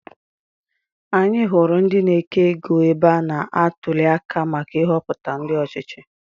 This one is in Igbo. Anyị hụrụ ndị na-eke égo ebe a na-atuli aka maka Ihopụta ndị ọchịchị.